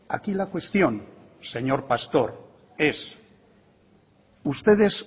aquí la cuestión señor pastor es ustedes